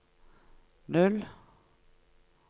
null